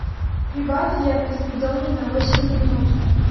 прибавь яркость в доме на восемь минут